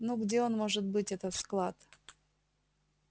ну где он может быть этот склад